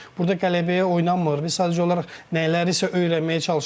Burda qələbəyə oynanmır, biz sadəcə olaraq nələrisə öyrənməyə çalışırıq.